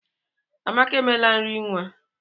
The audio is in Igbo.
Amaka emela nri nwa.